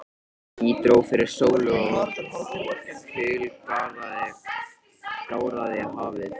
Ský dró fyrir sólu og kul gáraði hafið.